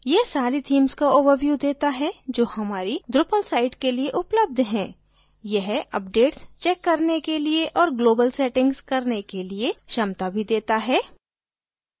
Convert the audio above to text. यह सारी themes का overview देता है जो हमारी drupal site के लिए उपलब्ध हैं यह updates check करने के लिए और global settings करने के लिये क्षमता भी देता है